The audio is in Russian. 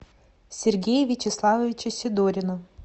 сергея вячеславовича сидорина